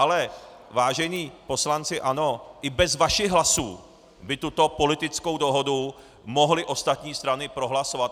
Ale vážení poslanci ANO, i bez vašich hlasů by tuto politickou dohodu mohly ostatní strany prohlasovat.